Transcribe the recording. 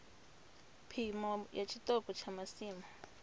phimo ya tshiṱoko tsha masimu